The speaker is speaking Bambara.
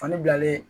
Fani bilalen